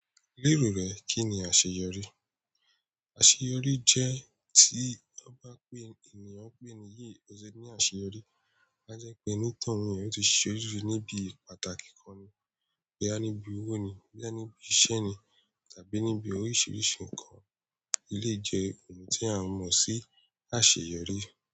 Lérò rẹ, kí ni àṣeyọrí? Àṣeyọrí jẹ́ tí ọ bá pé ènìyàn ń pè ni yìí, o ṣe ni àṣeyọrí. A jẹ́ pé onítòhún yẹn o ti ṣe orire ní ibi pàtàkì kan ni. Boya ní bí owó ni, boyà ní bí iṣẹ́ ni, tàbí níbi oríṣiríṣi nǹkan, elèyi jẹ́ ohun tí a mọ̀ sí àṣeyọrí.